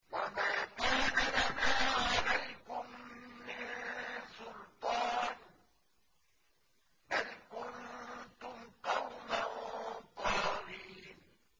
وَمَا كَانَ لَنَا عَلَيْكُم مِّن سُلْطَانٍ ۖ بَلْ كُنتُمْ قَوْمًا طَاغِينَ